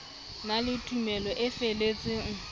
na le tumelo e feletseng